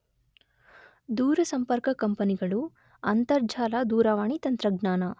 ದೂರಸಂಪರ್ಕ ಕಂಪೆನಿಗಳು ಅಂತರ್ಜಾಲ ದೂರವಾಣಿ ತಂತ್ರಜ್ಞಾನ